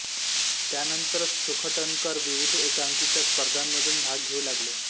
त्यानंतर सुखटणकर विविध एकांकिका स्पर्धांमधून भाग घेऊ लागले